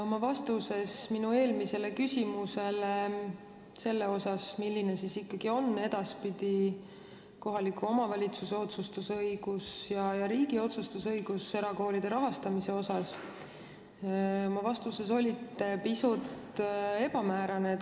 Oma vastuses minu küsimusele selle kohta, milline ikkagi on edaspidi kohaliku omavalitsuse ja riigi otsustusõigus erakoolide rahastamisel, olite te pisut ebamäärane.